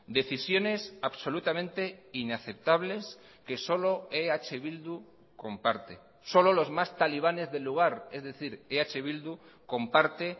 decisiones absolutamente inaceptables que solo eh bildu comparte solo los más talibanes del lugar es decir eh bildu comparte